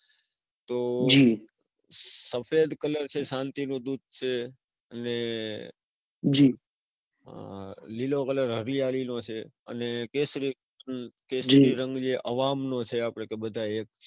તો સફેદ કલર છે શાંતિ નો દૂત છે, અને આહ લીલો કલર હરિયાળી નો છે, અને કેસરી રંગ જે અવાહં નો છે કે આપણે બધા એક છીએ.